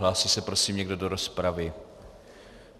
Hlásí se prosím někdo do rozpravy?